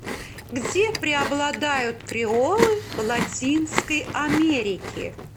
где преобладают креолы в латинской америке